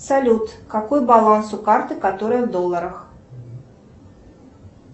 салют какой баланс у карты которая в долларах